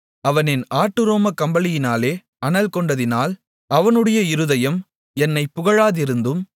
அவன் என் ஆட்டுரோமக் கம்பளியினாலே அனல்கொண்டதினால் அவனுடைய இருதயம் என்னைப் புகழாதிருந்ததும்